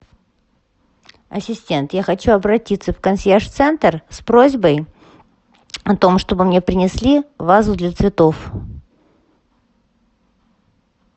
ассистент я хочу обратиться в консьерж центр с просьбой о том чтобы мне принесли вазу для цветов